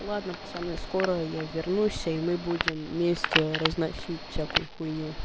ладно пацаны скоро я вернусь и мы будем вместе разносить всякую хуйню